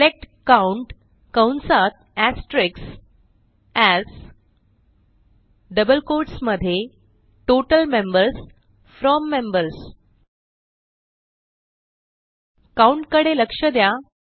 select count कंसात asterisks AS double quotes मध्ये total members from members count कडे लक्ष द्या